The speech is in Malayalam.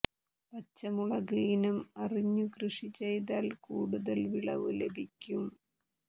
പച്ചമുളക് ഇനം അറിഞ്ഞു കൃഷി ചെയ്താൽ കൂടുതൽ വിളവ് ലഭിക്കും